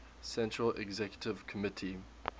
central executive committee